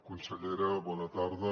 consellera bona tarda